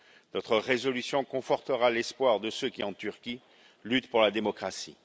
Notre résolution confortera l'espoir de ceux qui, en Turquie, luttent pour la démocratie.